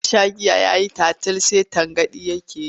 Ya sha giya ya yi tatil sai tangaɗi take yi.